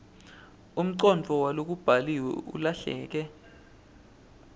umcondvo walokubhaliwe ulahleke